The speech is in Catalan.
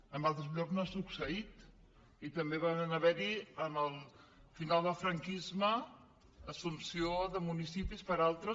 en altres llocs no ha succeït i també va haver hi al final del franquisme assumpció de municipis per altres